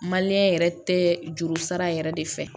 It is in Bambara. yɛrɛ tɛ juru sara yɛrɛ de fɛ